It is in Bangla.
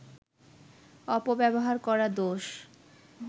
অপব্যবহার করা দোষ